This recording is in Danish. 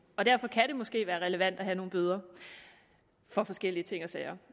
og derfor kan det måske være relevant at have nogle bøder for forskellige ting og sager